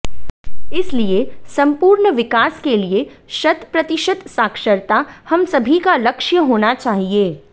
इसलिए संपूर्ण विकास के लिए शत प्रतिशत साक्षरता हम सभी का लक्ष्य होना चाहिए